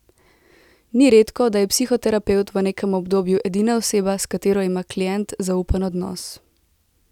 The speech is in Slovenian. Ni redko, da je psihoterapevt v nekem obdobju edina oseba, s katero ima klient zaupen odnos.